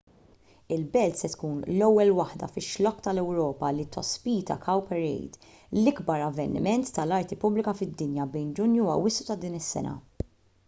il-belt se tkun l-ewwel waħda fix-xlokk tal-ewropa li tospita cowparade l-ikbar avveniment tal-arti pubblika fid-dinja bejn ġunju u awwissu ta' din is-sena